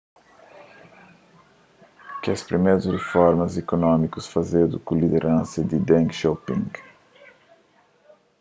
kes primerus riformas ikunómikus fazedu ku lideransa di deng xiaoping